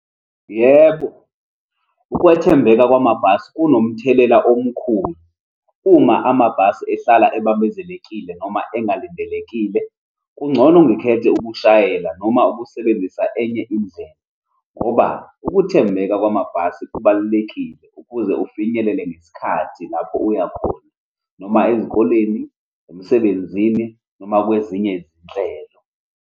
Yebo, ukwethembeka kwamabhasi kunomthelela omkhulu, uma amabhasi ehlala ebambezekile noma engalindelekile. Kungcono ngikhethe ukushayela noma ukusebenzisa enye indlela, ngoba ukuthembeka kwamabhasi kubalulekile ukuze ufinyelele ngesikhathi lapho uya khona, noma ezikoleni, emsebenzini, noma kwezinye izinhlelo.